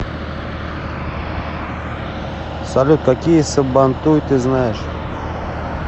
салют какие сабантуй ты знаешь